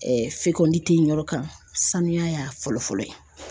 fɛkɔni tɛ yen yɔrɔ kan saniya fɔlɔ fɔlɔ ye.